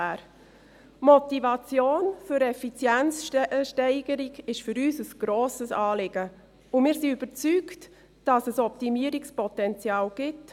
Die Motivation für eine Effizienzsteigerung ist für uns ein grosses Anliegen, und wir sind überzeugt, dass es Optimierungspotenzial gibt.